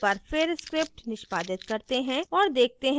एक बार फिर script निष्पादित करते हैं और देखते हैं कि क्या होता है